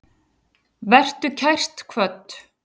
Vertu kært kvödd.